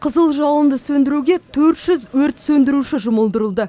қызыл жалынды сөндіруге төрт жүз өрт сөндіруші жұмылдырылды